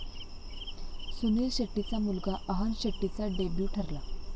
सुनील शेट्टीचा मुलगा अहान शेट्टीचा डेब्यू ठरला!